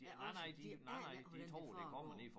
Ja også de aner ikke hvordan det foregår